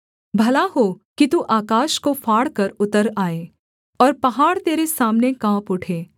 भला हो कि तू आकाश को फाड़कर उतर आए और पहाड़ तेरे सामने काँप उठे